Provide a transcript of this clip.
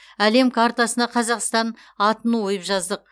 әлем қартасына қазақстан атын ойып жаздық